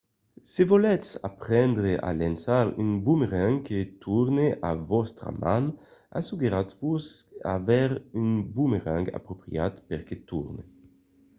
se volètz aprendre a lançar un bomerang que torne a vòstra man asseguratz-vos d'aver un bomerang apropriat per que torne